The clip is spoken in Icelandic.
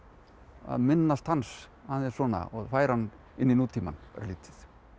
að minnast hans aðeins og færa hann inn í nútímann örlítið